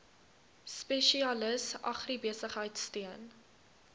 spesialis agribesigheid steun